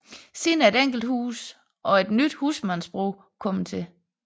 Siden er et enkelt hus og et nyt husmandsbrug kommet til